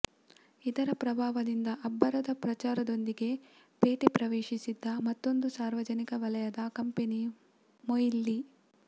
ಇದರ ಪ್ರಭಾವದಿಂದ ಅಬ್ಬರದ ಪ್ರಚಾರದೊಂದಿಗೆ ಪೇಟೆ ಪ್ರವೇಶಿಸಿದ್ದ ಮತ್ತೊಂದು ಸಾರ್ವಜನಿಕ ವಲಯದ ಕಂಪೆನಿ ಮೊಯಿಲ್ ಲಿ